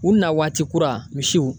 U nawaati kura misiw